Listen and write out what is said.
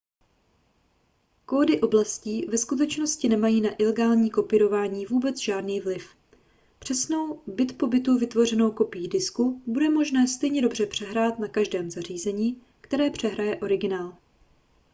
kódy oblastí ve skutečnosti nemají na ilegální kopírování vůbec žádný vliv přesnou bit po bitu vytvořenou kopii disku bude možné stejně dobře přehrát na každém zařízení které přehraje originál